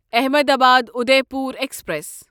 Ahmedabad Udaipur express